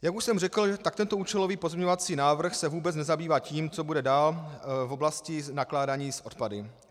Jak už jsem řekl, tak tento účelový pozměňovací návrh se vůbec nezabývá tím, co bude dál v oblasti nakládání s odpady.